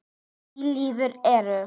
Í liðinu eru